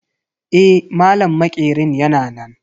Eh, malam maƙerin yana nan.